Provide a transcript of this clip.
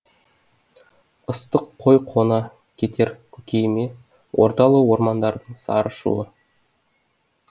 ыстық қой қона кетер көкейіме ордалы ормандардың сарын шуы